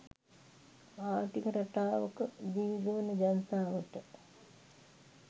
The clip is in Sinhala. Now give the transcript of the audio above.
ආර්ථික රටාවක දිවිගෙවන ජනතාවට